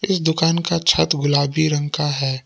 इसी दुकान का छत गुलाबी रंग का है।